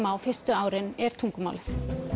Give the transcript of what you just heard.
á fyrstu árin er tungumálið